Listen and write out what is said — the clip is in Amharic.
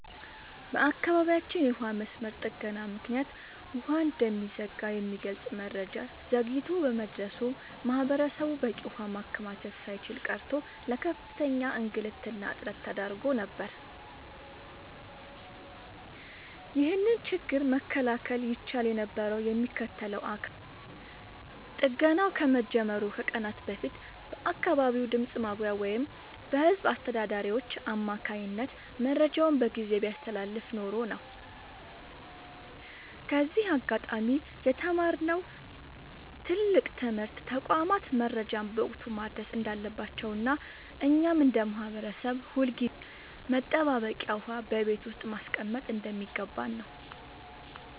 በአካባቢያችን የውሃ መስመር ጥገና ምክንያት ውሃ እንደሚዘጋ የሚገልጽ መረጃ ዘግይቶ በመድረሱ ማህበረሰቡ በቂ ውሃ ማከማቸት ሳይችል ቀርቶ ለከፍተኛ እንግልትና እጥረት ተዳርጎ ነበር። ይህንን ችግር መከላከል ይቻል የነበረው የሚመለከተው አካል ጥገናው ከመጀመሩ ከቀናት በፊት በአካባቢው ድምፅ ማጉያ ወይም በህዝብ አስተዳዳሪዎች አማካኝነት መረጃውን በጊዜ ቢያስተላልፍ ኖሮ ነው። ከዚህ አጋጣሚ የተማርነው ትልቅ ትምህርት ተቋማት መረጃን በወቅቱ ማድረስ እንዳለባቸውና እኛም እንደ ማህበረሰብ ሁልጊዜም መጠባበቂያ ውሃ በቤት ውስጥ ማስቀመጥ እንደሚገባን ነው።